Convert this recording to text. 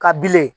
Ka bilen